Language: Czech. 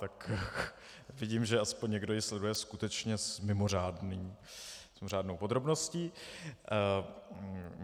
Tak vidím, že aspoň někdo ji sleduje skutečně s mimořádnou podrobností.